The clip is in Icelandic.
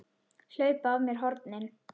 Hlaupa af mér hornin.